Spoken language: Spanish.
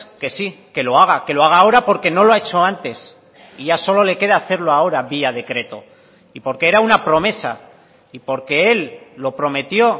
que sí que lo haga que lo haga ahora porque no lo ha hecho antes y ya solo le queda hacerlo ahora vía decreto y porque era una promesa y porque él lo prometió